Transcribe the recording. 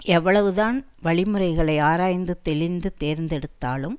எவ்வளவுதான் வழி முறைகளை ஆராய்ந்து தெளிந்து தேர்ந்தெடுத்தாலும்